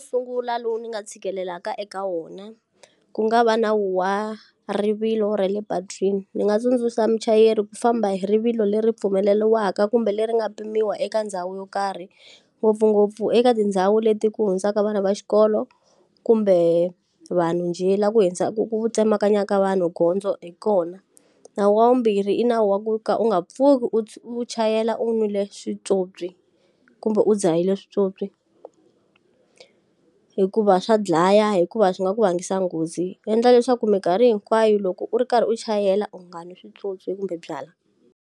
Sungula lowu ni nga tshikelelaka eka wona, ku nga va na wa rivilo ra le patwini. Ndzi nga tsundzuxa muchayeri ku famba hi rivilo leri pfumeleriwaka kumbe leri nga pimiwa eka ndhawu yo karhi. Ngopfungopfu eka tindhawu leti ku hundzaka vana va xikolo, kumbe vanhu njhe. Laha ku ku tsemakanya ka vanhu gondzo hi kona. Nawu wa vumbirhi i nawu wa ku ka u nga pfuki u u chayela u nwile swipyopyi kumbe u dzahile swipyopyi. Hikuva swa dlaya hikuva swi nga ku rhangisa nghozi. Endla leswaku minkarhi hinkwayo loko u ri karhi u chayela u ngani swipyopyi kumbe byalwa.